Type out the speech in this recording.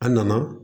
A nana